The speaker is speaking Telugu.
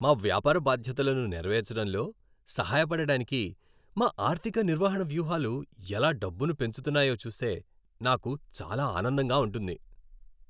మా వ్యాపార బాధ్యతలను నెరవేర్చడంలో సహాయపడటానికి మా ఆర్థిక నిర్వహణ వ్యూహాలు ఎలా డబ్బును పెంచుతున్నాయో చూస్తే నాకు చాలా ఆనందంగా ఉంటుంది.